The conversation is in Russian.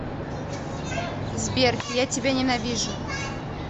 сбер я тебя ненавижу